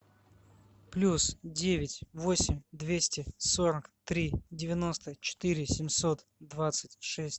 плюс девять восемь двести сорок три девяносто четыре семьсот двадцать шесть